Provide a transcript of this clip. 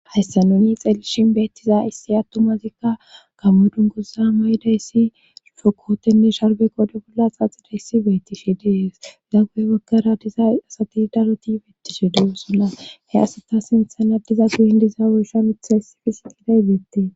hayssa nuni xeelishin beettiza issi attomazikka gamodunguza maydayssi fokootenne sharbe qode bolla xaxida issi bettifi dees gaggoe waggara diza asati daroti beettishe de'osunna he asata sinthana diza guyin diza oshan utha hissifi siqidayziettee